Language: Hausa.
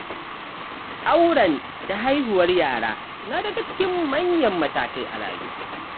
Auren da haihuwar yara na daga cikin manyan matakai a rayuwa.